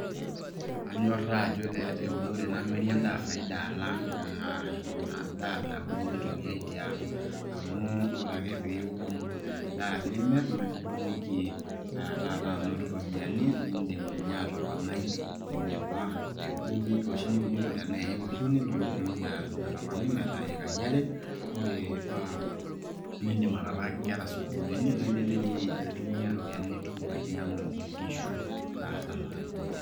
Anyorra ajo keeta eunore namiri endaa faida alang ina daa nauni nitumiae tiang . amu ore ake piun endaa nimirr naa itumoki aa taata anoto iropiyiani nindim ninye atoponai eneba ewueji oshi niunito nitumoki atoponai metaa ikai are . ore paa nindim ataalaki inkera sukuulini naa indim di ninye aitumia iropiyiani nitum ainyangu inkishu